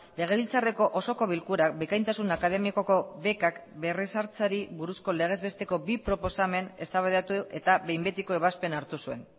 legebiltzarreko osoko bilkurak bikaintasun akademikoko bekak berrezartzeari buruzko legez besteko bi proposamen eztabaidatu eta behin betiko ebazpena hartu zuen